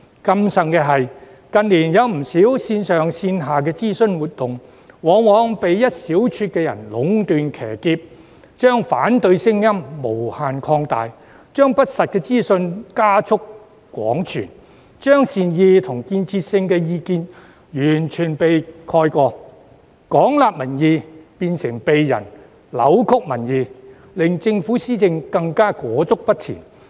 更甚者，近年有不少線上線下的諮詢活動，往往被一小撮人壟斷、騎劫，將反對聲音無限擴大，將不實資訊加速廣傳，將善意及建設性意見完全蓋過，廣納民意變成扭曲民意，令政府施政更加裹足不前。